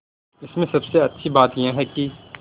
इसमें सबसे अच्छी बात यह है कि